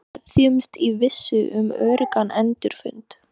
Við kveðjumst í vissu um öruggan endurfund.